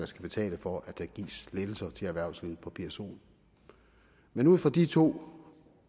skal betale for at der gives lettelser til erhvervslivet på psoen men ud fra de to